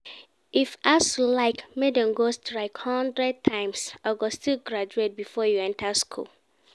If ASUU like make dem go strike hundred times, I go still graduate before you enter school